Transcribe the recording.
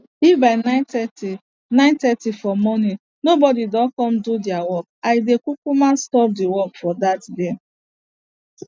if by nine thirty nine thirty for morning nobody don come do deir work i dey kukuma stop de work for dat day